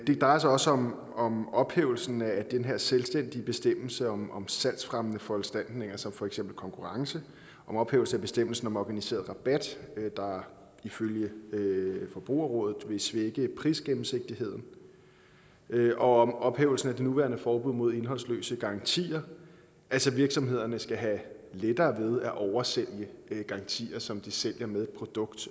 drejer sig også om om ophævelsen af den her selvstændige bestemmelse om om salgsfremmende foranstaltninger som for eksempel konkurrence om ophævelsen af bestemmelsen om organiseret rabat der ifølge forbrugerrådet vil svække prisgennemsigtigheden og om ophævelsen af det nuværende forbud mod indholdsløse garantier altså at virksomhederne skal have lettere ved at oversælge garantier som de sælger med et produkt